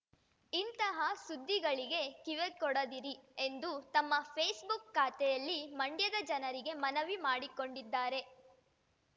ಇಂತಹ ಸುದ್ದಿಗಳಿಗೆ ಕಿವಿಗೊಡದಿರಿ ಎಂದು ತಮ್ಮ ಫೇಸ್ ಬುಕ್ ಖಾತೆಯಲ್ಲಿ ಮಂಡ್ಯದ ಜನರಿಗೆ ಮನವಿ ಮಾಡಿಕೊಂಡಿದ್ದಾರೆ